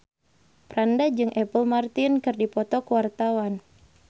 Franda jeung Apple Martin keur dipoto ku wartawan